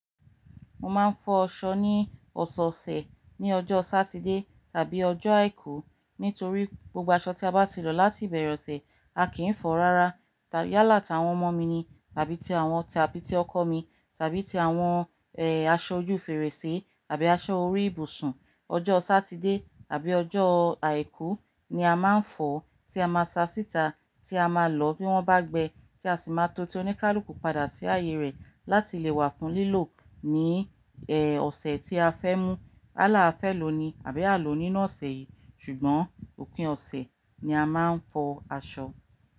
Mo máa ń fọ ṣọ ní ọ̀sẹ̀ ọ̀sẹ̀ ní ọjọ́ Sátidé tàbí ọjọ́ Àìkú nítorí gbogbo aṣọ tí a bá ti lò láti ìbẹ̀rẹ̀ ọ̀sẹ̀ a kì í fọ̀ rárá tàbí yálà tí àwọn ọmọ mi ni tàbí ti àwọn tàbí tí ọkọ mi tàbí ti àwọn eh asọ ojú fèrèsé tàbí aṣọ orí ìbùsùn. Ọjọ́ Sátidé àbí ọjọ́ Àìkú ni a máa ń fọ̀ tí a máa sa síta tí a máa lò bí wọ́n bá gbẹ tí a sì máa to tí ó ní ká ló kù padà sí ààyè rẹ̀ láti lè wà fún lílò ní eh ọ̀sẹ̀ tí a fẹ́ mú. Àlá fẹ lo ni àbí à ló níná ọ̀sẹ̀ yìí ṣùgbọ́n òpin ọ̀sẹ̀ ni a máa ń fọ aṣọ.